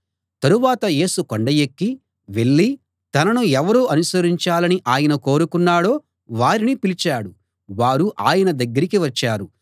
తరువాత యేసు కొండ ఎక్కి వెళ్ళి తనను ఎవరు అనుసరించాలని ఆయన కోరుకున్నాడో వారిని పిలిచాడు వారు ఆయన దగ్గరికి వచ్చారు